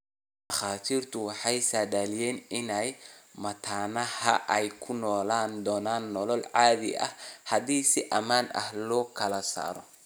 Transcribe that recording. Dhakhaatiirtu waxay saadaaliyeen in mataanahan ay ku noolaan doonaan nolol caadi ah haddii si ammaan ah loo kala saaro.